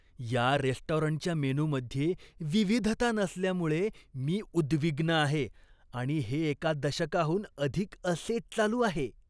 या रेस्टॉरंटच्या मेनूमध्ये विविधता नसल्यामुळे मी उद्विग्न आहे आणि हे एका दशकाहून अधिक असेच चालू आहे.